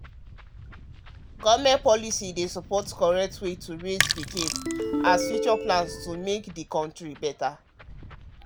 government health policy dey support correct way to raise pikin raise pikin as future plans to make the country better